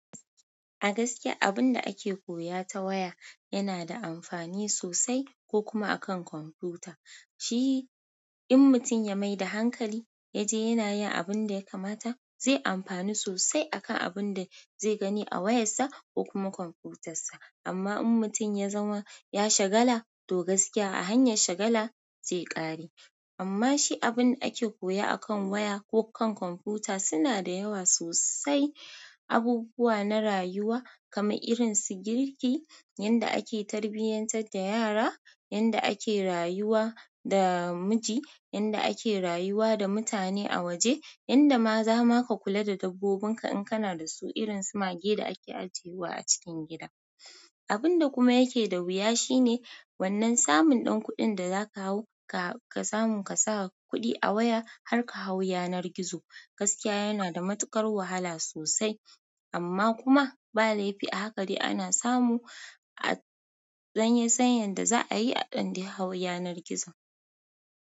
A gaskiya abunda ake koya ta waya yana da amfani sosai ko kuma akan kwamfuta. Shi in mutum ya maida hankali yaje yana yin abunda ya kamata zai amfani sosai akan abunda zai gani a wayarsa ko kuma kwamfutarsa. Amma in mutum yazama ya shagala to gaskiya a hanyar shagala zai kare. Amma shi abunda ake koya akan waya ko kan kwamfuta suna da yawa sosai. Abubuwa na rayuwa kama irin su girki, yanda ake tarbiyantar da yara, yanda ake rayuwa da miji, yanda ake rayuwa da mutane a waje, yanda ma zama ka kula da dabbobinka in kana dasu irin su mage da ake ajiyewa a cikin gida. Abunda kuma yake da wuya shine wannan samun ɗan kuɗin da zaka hau ka samun kasa kuɗi a waya har kahau yanar gizo. Gaskiya yana da matuƙar wahala sosai amma kuma ba laifi a haka dai ana samu a ɗan san yanda za'a yi a ɗan dai hau yanar gizo.